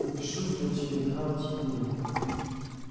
напишу в твой телеграм тебе